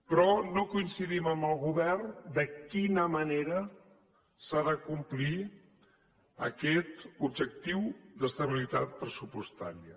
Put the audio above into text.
però no coincidim amb el govern de quina manera s’ha de complir aquest objectiu d’estabilitat pressupostària